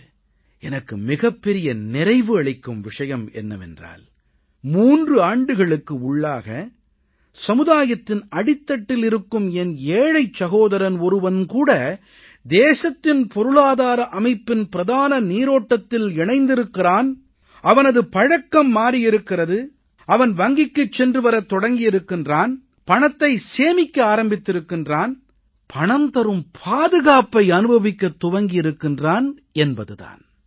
இன்று எனக்கு மிகப்பெரிய நிறைவு அளிக்கும் விஷயம் என்னவென்றால் 3 ஆண்டுகளுக்கு உள்ளாக சமுதாயத்தின் அடித்தட்டில் இருக்கும் என் ஏழைச் சகோதரன் ஒருவன் கூட தேசத்தின் பொருளாதார அமைப்பின் பிரதான நீரோட்டத்தில் இணைந்திருக்கிறான் அவனது பழக்கம் மாறியிருக்கிறது அவன் வங்கிக்குச் சென்று வரத் தொடங்கியிருக்கிறான் பணத்தைச் சேமிக்க ஆரம்பித்திருக்கிறான் பணம் தரும் பாதுகாப்பை அனுபவிக்கத் துவங்கியிருக்கிறான் என்பது தான்